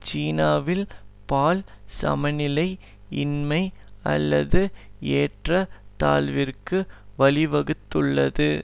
சீனாவில் பால் சமநிலை இன்மை அல்லது ஏற்ற தாழ்விற்கு வழிவகுத்துள்ளது